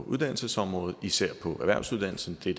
uddannelsesområdet især erhvervsuddannelserne det